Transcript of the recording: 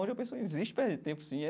Hoje eu penso, existe perda de tempo sim.